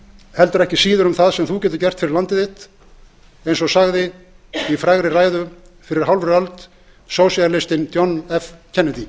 heldur ekki síður um það sem þú getur gert fyrir landið þitt eins og sagði í frægri ræðu fyrir rúmri hálfri öld sósíalistinn john f kennedy